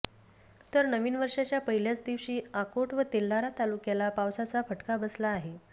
तर नवीन वर्षाच्या पहिल्याच दिवशी अकोट व तेल्हारा तालुक्याला पावसाचा फटका बसला आहे